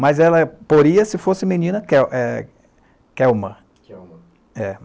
Mas ela poria, se fosse menina, Kel eh Kelma.Kelma.